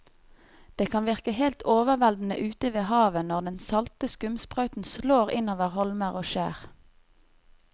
Det kan virke helt overveldende ute ved havet når den salte skumsprøyten slår innover holmer og skjær.